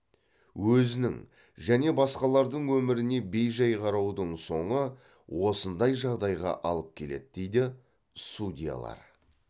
өзінің және басқалардың өміріне бей жай қараудың соңы осындай жағдайға алып келеді дейді судьялар